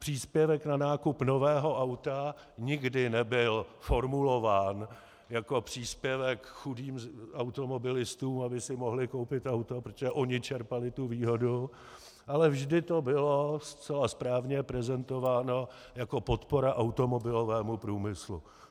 Příspěvek na nákup nového auta nikdy nebyl formulován jako příspěvek chudým automobilistům, aby si mohli koupit auto, protože oni čerpali tu výhodu, ale vždy to bylo zcela správně prezentováno jako podpora automobilovému průmyslu.